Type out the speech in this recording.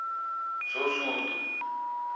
sosudu